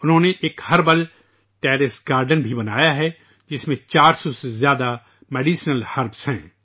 انہوں نے ایک ہربل ٹیرس گارڈن بھی بنایا ہے جس میں 400 سے زیادہ دواؤں کی جڑی بوٹیاں ہیں